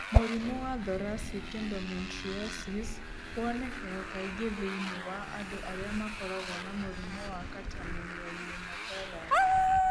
Mũrimũ wa Thoracic endometriosis wonekaga kaingĩ thĩinĩ wa andũ arĩa makoragwo na mũrimũ wa catamenial pneumothorax.